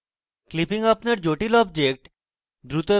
clipping আপনার জটিল objects দ্রুত